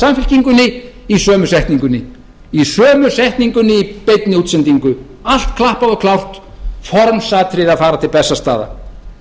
samfylkingunni í sömu setningunni í sömu setningunni í beinni útsendingu allt klappað og klárt formsatriði að fara til bessastaða